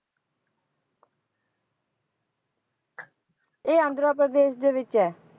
ਇਹ ਆਂਧਰਾ ਪ੍ਰਦੇਸ਼ ਦੇ ਵਿੱਚ ਹੈ।